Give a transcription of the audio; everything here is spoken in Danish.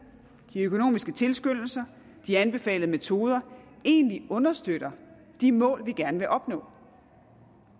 de økonomiske tilskyndelser de anbefalede metoder egentlig understøtter de mål vi gerne vil opnå